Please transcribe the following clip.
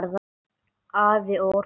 Afl og orka